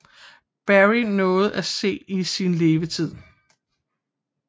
Barrie nåede at se i sin levetid